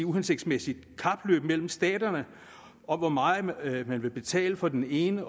uhensigtsmæssigt kapløb mellem staterne om hvor meget man vil man vil betale for den ene